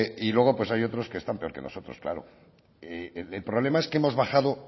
y luego pues hay otros que están peor que nosotros claro el problema es que hemos bajado